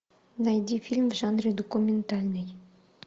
найди фильм в жанре документальный